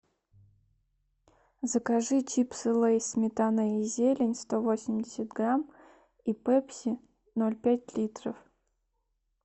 закажи чипсы лейс сметана и зелень сто восемьдесят грамм и пепси ноль пять литров